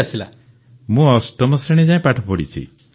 ପନ୍ ମରିୟପ୍ପନ୍ ମୁଁ ଅଷ୍ଟମ ଶ୍ରେଣୀ ଯାଏ ପାଠ ପଢ଼ିଛି